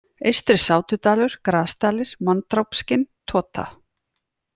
Eystri-Sátudalur, Grasdalir, Manndrápskinn, Tota